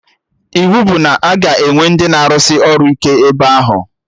Iwu bụ na a ga-enwe ndị na arụsị ọrụ ike ebe ahụ!